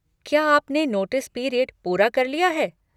क्या आपने notice period पूरा कर लिया है?